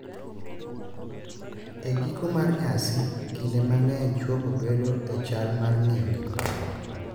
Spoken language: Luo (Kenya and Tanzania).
E giko mar nyasi, kinde mang’eny chwogo bedo e chal mar ng’iyo gik moko.